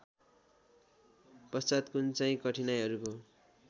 पश्चात् कुनचाहिँ कठिनाइहरूको